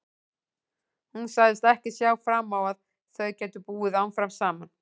Hún sagðist ekki sjá fram á að þau gætu búið áfram saman.